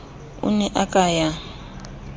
o ne a ka ya